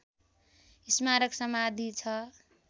स्मारक समाधि छ